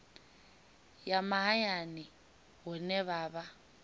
ya mahayani hune ha vha